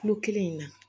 Kilo kelen in na